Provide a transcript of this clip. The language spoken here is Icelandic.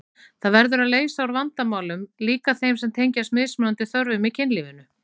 Það verður að leysa úr vandamálum, líka þeim sem tengjast mismunandi þörfum í kynlífinu.